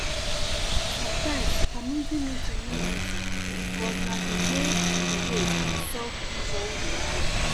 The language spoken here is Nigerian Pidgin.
sometimes community meeting no easy but na di way to di way to solve neighborhood wahala.